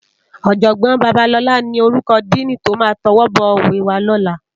Òjògbòn Babalola ni órúkò dìní tó má tòwòbòwé wá lòlá